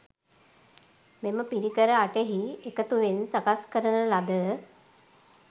මෙම පිරිකර අටෙහි එකතුවෙන් සකස් කරන ලද